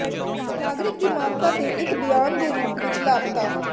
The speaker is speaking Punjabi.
ਨਾਗਰਿਕ ਦੀ ਮਾਨਤਾ ਦੇ ਇੱਕ ਬਿਆਨ ਦੇ ਰੂਪ ਵਿੱਚ ਲਾਪਤਾ